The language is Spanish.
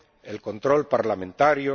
el control parlamentario